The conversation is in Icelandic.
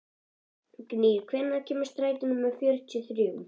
Gnýr, hvenær kemur strætó númer fjörutíu og þrjú?